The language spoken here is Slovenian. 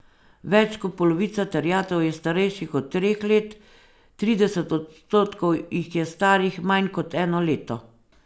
Več kot polovica terjatev je starejših od treh let, trideset odstotkov jih je starih manj kot eno leto.